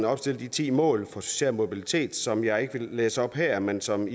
opstillet de ti mål for social mobilitet som jeg ikke vil læse op her men som